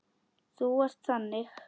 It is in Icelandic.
Þú ert þannig.